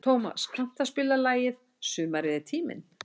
Tómas, kanntu að spila lagið „Sumarið er tíminn“?